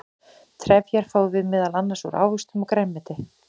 trefjar fáum við meðal annars úr ávöxtum og grænmeti